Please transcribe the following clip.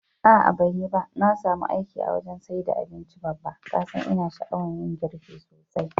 A'a banyiba, na samu aiki a wajan saida abinci Babba, kasan ina sha'awan yin girki sosai.